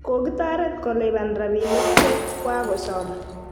kokitaret kolipan rabinik che kwako som